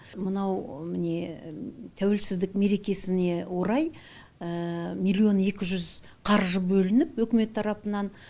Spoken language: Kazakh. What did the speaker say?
мынау міне тәуелсіздік мерекесіне орай миллион екі жүз қаржы бөлініп үкімет тарапынан